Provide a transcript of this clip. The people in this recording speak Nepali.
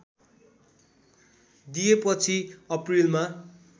दिएपछि अप्रिलमा